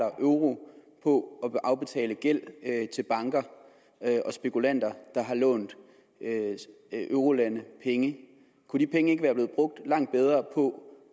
euro på at afbetale gæld til banker og spekulanter der har lånt eurolande penge kunne de penge ikke være blevet brugt langt bedre på at